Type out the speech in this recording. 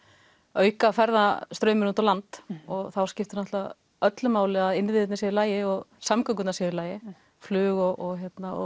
auka ferðamannastrauminn út á land og þá skiptir auðvitað öllu máli að innviðirnir séu í lagi og samgöngurnar séu í lagi flug og